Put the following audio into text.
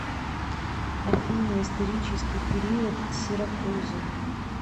афина исторический период сиракузы